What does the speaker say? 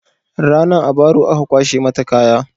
Ranan a baro aka kwashe mata kaya